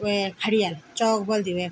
वे खड़िया चोक बोल्दी वेन।